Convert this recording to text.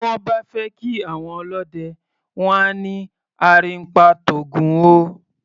Bí wọ́n bá fẹ́ kí àwọn ọlọ́dẹ, wọ́n á ní "àrìnpa ń t'Ògún o".